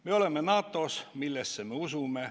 Me oleme NATO-s, millesse me usume.